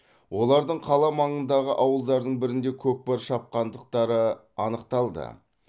олардың қала маңындағы ауылдардың бірінде көкпар шапқандықтары анықталды